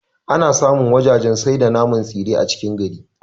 Ana samu wajajen sai da naman tsire a cikin gari